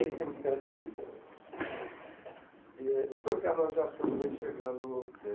E então, Ricardo, nós já estamos aí chegando